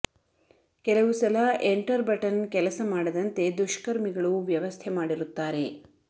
ಕೆಲವು ಸಲ enter button ಕೆಲಸ ಮಾಡದಂತೆ ದುಷ್ಕರ್ಮಿಗಳು ವ್ಯವಸ್ಥೆ ಮಾಡಿರುತ್ತಾರೆ